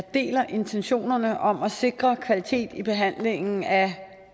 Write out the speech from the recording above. deler intentionerne om at sikre kvalitet i behandlingen af